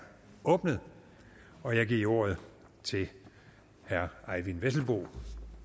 åbnet og jeg giver ordet til herre eyvind vesselbo